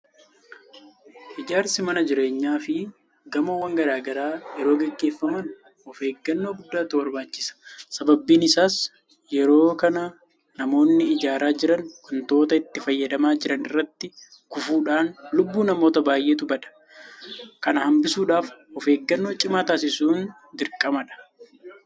Ijaarsi mana jireenyaafi gamoowwan garaa garaa yeroo gaggeeffaman ofeeggannoo guddaatu barbaachisa. Sababiin isaas yeroo kana namoonni ijaaraa jiran waantota itti fayyadamaa jiran irraa kufuudhaan lubbuu namoota baay'eetu bada. Kana hanbisuudhaaf ofeeggannoo cimaa taasisuun dirqamadha.